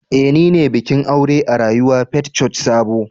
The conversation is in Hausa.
Eh nine bikin aure a rayuwa Faith Church Sabo